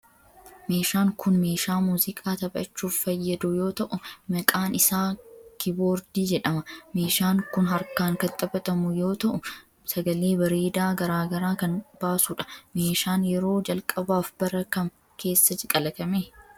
Meeshaan kun, meeshaa muuziqaa taphachuuf fayyadu yoo ta'u maqaan isaa kiiboordii jedhama. Meeshaan kun harkaan kan taphatamu yoo ta'u, sagalee bareedaa garaa garaa kan baasu dha. Meeshaan yeroo jalqabaaf bara kam keessa kalaqame?